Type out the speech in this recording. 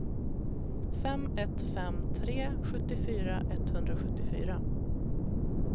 fem ett fem tre sjuttiofyra etthundrasjuttiofyra